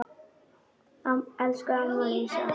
Elsku amma Lísa.